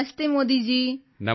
ਨਮਸਤੇ ਮੋਦੀ ਜੀ